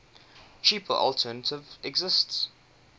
cheaper alternative existed